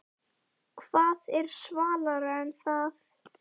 Hvað er svalara en það?